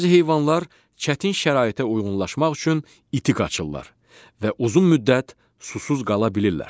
Bəzi heyvanlar çətin şəraitə uyğunlaşmaq üçün iti qaçırlar və uzun müddət susuz qala bilirlər.